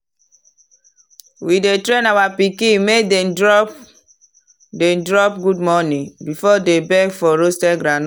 we dey train our pikin make dem drop dem drop “good morning” before dem beg for roasted groundnut.